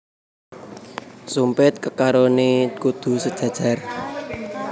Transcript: Sumpit kekarone kudu sejajar